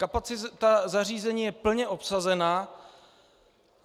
Kapacita zařízení je plně obsazena.